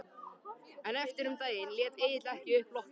En eftir um daginn lét Egill ekki upp lokrekkjuna.